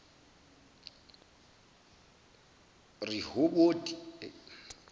rehoboti